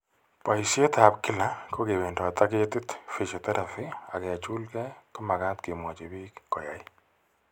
Boisietap kila, ke wendot ak ketiit, physiotherapy ak kechulke ko makat kemwachi biik ko yaay.